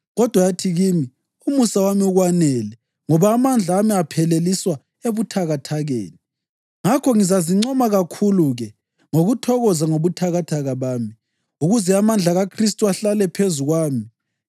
Kodwa yathi kimi, “Umusa wami ukwanele ngoba amandla ami apheleliswa ebuthakathakeni.” Ngakho ngizazincoma kakhulu-ke ngokuthokoza ngobuthakathaka bami, ukuze amandla kaKhristu ahlale phezu kwami.